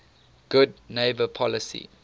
good neighbor policy